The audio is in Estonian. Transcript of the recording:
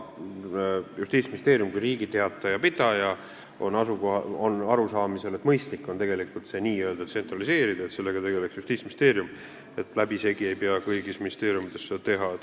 Justiitsministeerium kui Riigi Teataja pidaja on arusaamisel, et mõistlik on see n-ö tsentraliseerida, et sellega tegeleks Justiitsministeerium, läbisegi ei pea kõigis ministeeriumides seda tegema.